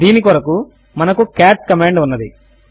దీని కొరకు మనకు కాట్ కమాండ్ ఉన్నది